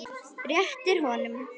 Réttir honum.